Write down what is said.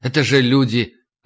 это же люди